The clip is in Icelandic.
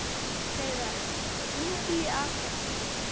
Hreiðar, hringdu í Asarías.